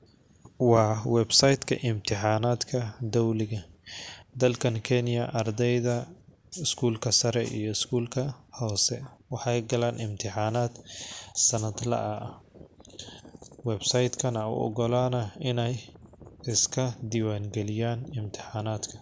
Waa website ka imtixanaadka dowliga dalkan kenya ,ardeyda skulka sare iyo skulka hoose ,waxeey galaan imtixanaad sanad la ah .website kan aa u ogolanaa ineey iska diwaan galiyaan imtixanaadka .